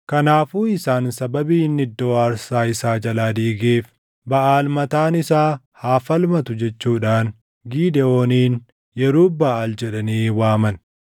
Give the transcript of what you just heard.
Kanaafuu isaan sababii inni iddoo aarsaa isaa jalaa diigeef, “Baʼaal mataan isaa haa falmatu” jechuudhaan Gidewooniin, “Yerub-Baʼaal” jedhanii waaman.